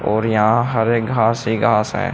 और यहां हरे घर ही घास है।